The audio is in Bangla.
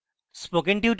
spoken tutorial প্রকল্প the